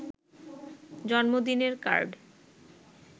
জন্মদিনের কার্ড